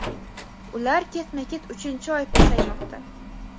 ular ketma-ket uchinchi oy pasaymoqda.